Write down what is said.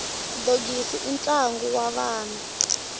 dogisi i ntlangu wa vana